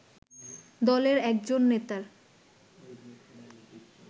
দলের একজন নেতার